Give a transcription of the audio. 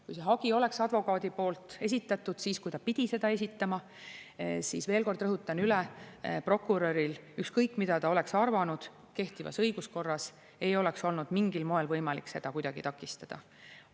Kui see hagi oleks advokaadi poolt esitatud siis, kui ta pidi seda esitama, siis, veel kord rõhutan, prokuröril – ükskõik, mida ta oleks arvanud – kehtivas õiguskorras ei oleks olnud mingil moel võimalik seda kuidagi takistada.